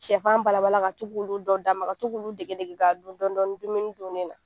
Sɛfan balabala ka to k'ulu dɔ d'a ma, ka to k'ulu dege dege ka dun dɔɔni dɔɔni dumuni dun ni na.